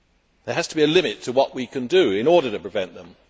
There has to be a limit to what we can do in order to prevent them.